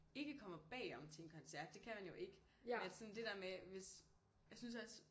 Ikke kommer bagom til en koncert det kan man jo ikke men at sådan det der med jeg synes også